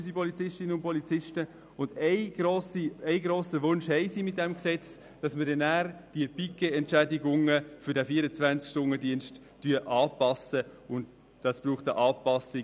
Mit diesem Gesetz verbinden sie den einen grossen Wunsch, dass die Pikettentschädigungen für den 24-Stunden-Dienst nach oben angepasst werden;